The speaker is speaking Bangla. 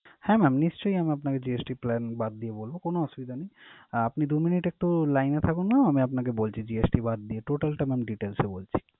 হ্যাঁ mam নিশ্চয়ই আমি আপনাকে GST plan বাদ দিয়ে বলবো কোন অসুবিধা নেই। আহ আপনি দু minute একটু line এ থাকুন mam আমি আপনাকে বলছি GST বাদ দিয়ে total amount details এ বলছি।